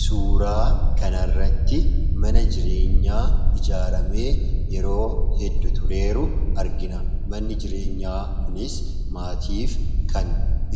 Suuraa kanarratti mana jireenyaa ijaaramee yeroo heddu tureeru argina manni jireenyaa kunis maatiif kan